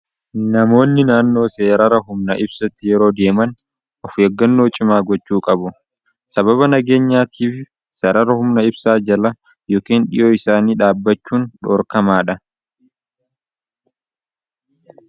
Namoonni naannoo seerara humna ibsatti yeroo deeman of eeggannoo cimaa gochuu qabu. sababa nageenyaatiif seerara humna ibsaa jala yookeen dhiyoo isaanii dhaabbachuun dhoorkamaa dha.